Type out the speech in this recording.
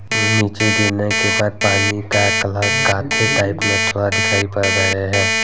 नीचे गिरने के बाद पानी का कलर काठे टाइप में थोड़ा दिखाई पड़ रहे हैं।